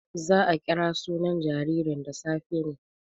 Za a kira sunan jaririn da safe ne.